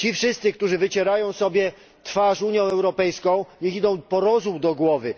Ci wszyscy, którzy wycierają sobie twarz Unią Europejską, niech idą po rozum do głowy.